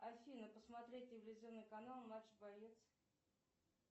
афина посмотреть телевизионный канал матч боец